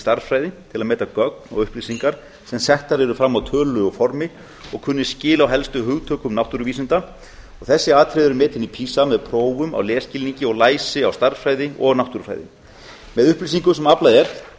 stærðfræði til að meta gögn og upplýsingar sem settar eru fram á tölulegu formi og kunni skil á helstu hugtökum náttúruvísinda og þessi atriði eru metin í pisa með prófum á lesskilningi og læsi á stærðfræði og náttúrufræði með upplýsingum sem aflað er